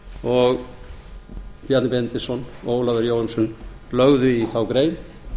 og bjarni benediktsson og ólafur jóhannesson lögðu í þá grein